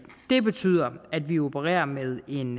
det betyder at vi opererer med en